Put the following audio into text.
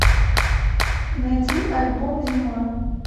найди альбом зима